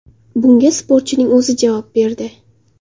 Bunga sportchining o‘zi javob berdi.